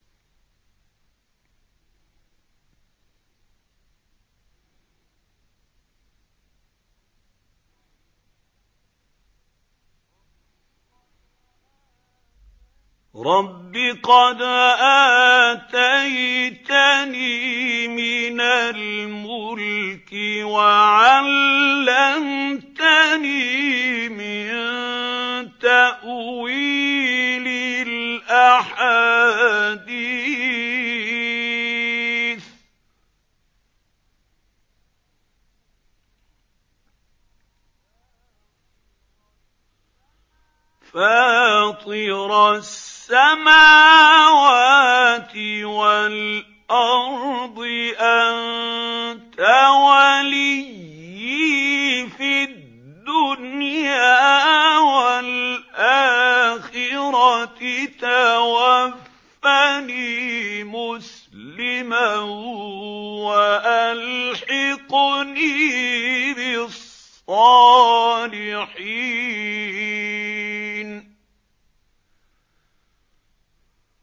۞ رَبِّ قَدْ آتَيْتَنِي مِنَ الْمُلْكِ وَعَلَّمْتَنِي مِن تَأْوِيلِ الْأَحَادِيثِ ۚ فَاطِرَ السَّمَاوَاتِ وَالْأَرْضِ أَنتَ وَلِيِّي فِي الدُّنْيَا وَالْآخِرَةِ ۖ تَوَفَّنِي مُسْلِمًا وَأَلْحِقْنِي بِالصَّالِحِينَ